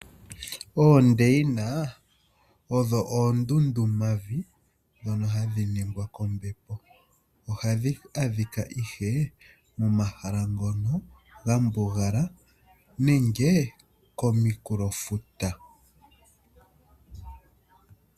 Oondeina odho oondundu mavi ndhono hadhi ningwa kombepo ohadhi adhika ihe momahala ngono ga mbugala nenge kominkulofuta.